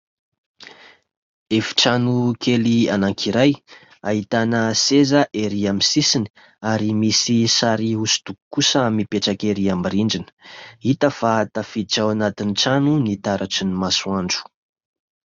Efitrano kely anankiray, ahitana seza erỳ amin'ny sisiny ary misy sary hosodoko kosa mipetraka erỳ amin'ny rindrina. Hita fa tafiditra ao anatin'ny trano ny taratry ny masoandro.